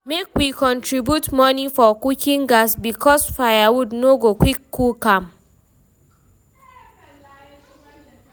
Make we contribute money for cooking gas, because firewood no go quick cook am.